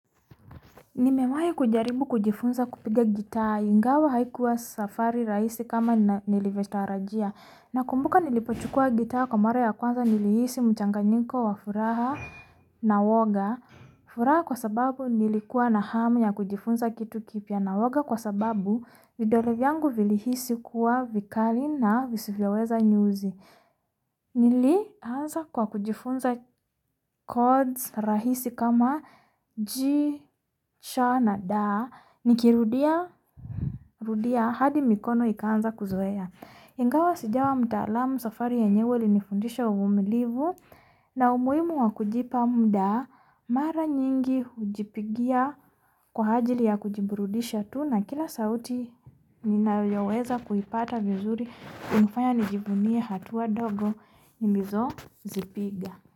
Nimewahi kujaribu kujifunza kupiga gita, ingawa haikuwa safari rahisi kama niliviotarajia. Nakumbuka nilipochukuwa gita kwa mara ya kwanza nilihisi muchanganyiko wa furaha na woga. Furaha kwa sababu nilikwa nahamu ya kujifunza kitu kipya na woga kwa sababu vidole vyangu vilihisi kuwaa vikali na visivyoweza nyuzi. Nili anza kwa kujifunza kodi rahisi kama ji cha na da, nikirudia hadi mikono ikanza kuzoea. Ingawa sijawa mtalamu safari yenyewe ilinifundisha uvumilivu na umuhimu wa kujipa muda, Mara nyingi hujipigia kwa ajili ya kujiburudisha tu na kila sauti ninayoweza kuipata vizuri, hunifanya nijivunie hatuwa ndogo nilizo zipiga.